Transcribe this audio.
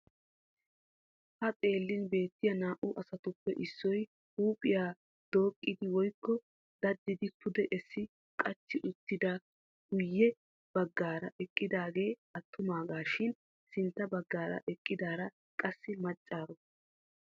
Ha xeellin beettiya naa"u asatuppe issoy huuphphiya dooqqidi woykko daddidi pude essi qachchi wottidi guyye baggara eqqidaagee attumaagaa gidishin sintta baggaara eqqidaara qassi maccaroni.